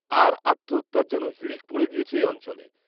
আর আত্মহত্যার যেন হিড়িক পড়ে গিয়েছে, এ অঞ্চলে